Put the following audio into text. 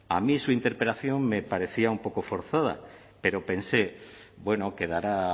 a mí su interpelación me parecía un poco forzada pero pensé bueno quedará